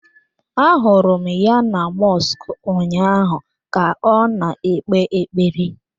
Ahụrụ m ya na mọsk ụnyaahụ ka ọ na-ekpe ekpere.